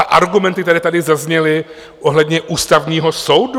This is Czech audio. A argumenty, které tady zazněly ohledně Ústavního soudu?